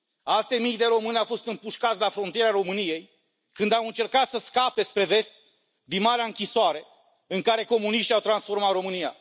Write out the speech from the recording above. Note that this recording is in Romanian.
Alte mii de români au fost împușcați la frontiera României când au încercat să scape spre vest din marea închisoare în care comuniștii au transformat România.